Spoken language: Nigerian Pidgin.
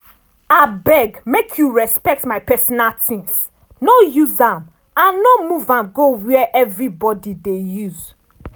abeg make you respect my pesinal tings no use am and no move am go where everybody dey use.